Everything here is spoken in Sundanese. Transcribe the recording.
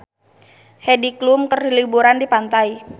Heidi Klum keur liburan di pantai